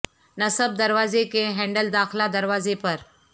نصب دروازے کے ہینڈل داخلہ دروازے پر